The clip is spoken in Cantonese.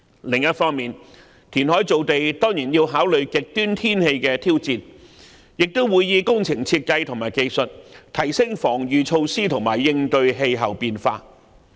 另一方面，填海造地當然要考慮極端天氣的挑戰，亦會以工程設計和技術提升防禦措施和應對氣候變化。